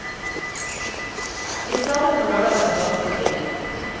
Vi startet på lørdagen ganske tidlig.